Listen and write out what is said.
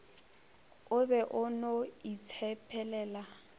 o be o no itshepelela